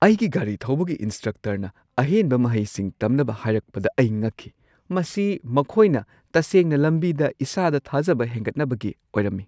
ꯑꯩꯒꯤ ꯒꯥꯔꯤ ꯊꯧꯕꯒꯤ ꯏꯟꯁꯇ꯭ꯔꯛꯇꯔꯅ ꯑꯍꯦꯟꯕ ꯃꯍꯩꯁꯤꯡ ꯇꯝꯅꯕ ꯍꯥꯏꯔꯛꯄꯗ ꯑꯩ ꯉꯛꯈꯤ ꯫ ꯃꯁꯤ ꯃꯈꯣꯏꯅ ꯇꯁꯦꯡꯅ ꯂꯝꯕꯤꯗ ꯏꯁꯥꯗ ꯊꯥꯖꯕ ꯍꯦꯟꯒꯠꯅꯕꯒꯤ ꯑꯣꯏꯔꯝꯏ ꯫